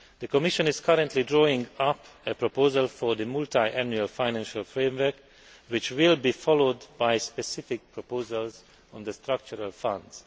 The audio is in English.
The Commission is currently drawing up a proposal for the multi annual financial framework, which will be followed by specific proposals on the Structural Funds.